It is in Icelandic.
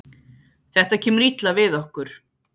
Þetta kemur illa við okkur